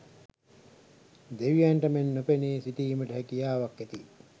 දෙවියන්ට මෙන් නොපෙනී සිටීමට හැකියාවක් ඇති,